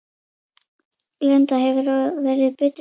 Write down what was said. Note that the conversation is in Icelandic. Linda: Hefurðu verið bitinn oft?